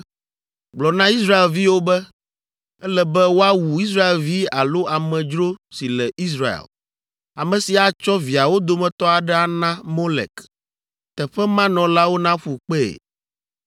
“Gblɔ na Israelviwo be, ‘Ele be woawu Israelvi alo amedzro si le Israel, ame si atsɔ viawo dometɔ aɖe ana Molek. Teƒe ma nɔlawo naƒu kpee.